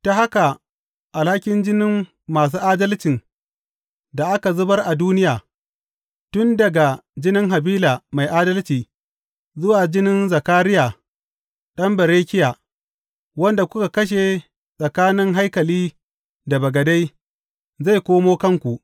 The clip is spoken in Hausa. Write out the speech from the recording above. Ta haka alhakin jinin masu adalcin da aka zubar a duniya, tun daga jinin Habila mai adalci, zuwa jinin Zakariya ɗan Berekiya, wanda kuka kashe tsakanin haikali da bagade zai koma kanku.